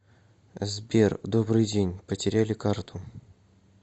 сбер добрый день потеряли карту